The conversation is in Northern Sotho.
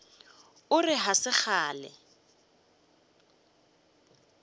o re ga se kgale